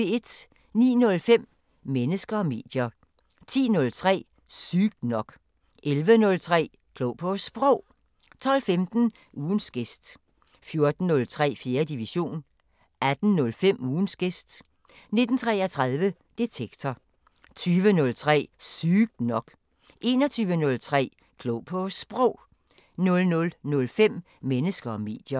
09:05: Mennesker og medier 10:03: Sygt nok 11:03: Klog på Sprog 12:15: Ugens gæst 14:03: 4. division 18:05: Ugens gæst 19:33: Detektor 20:03: Sygt nok 21:03: Klog på Sprog 00:05: Mennesker og medier